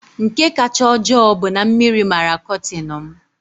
Nke kacha ojoo bụ na mmiri mara kọtin m.